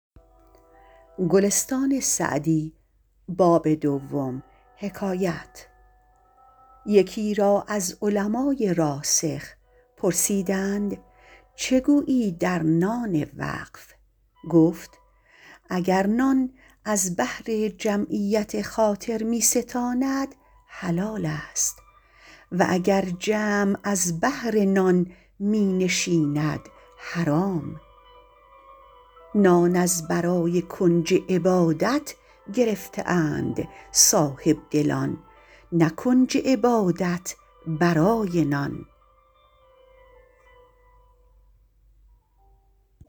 یکی را از علمای راسخ پرسیدند چه گویی در نان وقف گفت اگر نان از بهر جمعیت خاطر می ستاند حلال است و اگر جمع از بهر نان می نشیند حرام نان از برای کنج عبادت گرفته اند صاحبدلان نه کنج عبادت برای نان